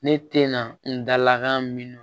Ne te na n dalakan min